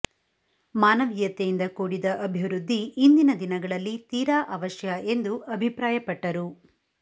ಮಾನ ವೀಯತೆಯಿಂದ ಕೂಡಿದ ಅಭಿವೃದ್ಧಿ ಇಂದಿನ ದಿನ ಗಳಲ್ಲಿ ತೀರಾ ಅವಶ್ಯ ಎಂದು ಅಭಿಪ್ರಾಯಪಟ್ಟರು